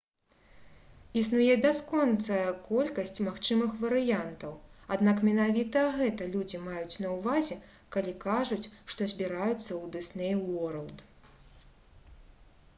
існуе бясконцая колькасць магчымых варыянтаў аднак менавіта гэта людзі маюць на ўвазе калі кажуць што «збіраюцца ў дысней уорлд»